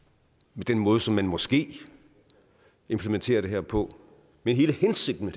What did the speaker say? ved den måde som man måske implementerer det her på men hele hensigten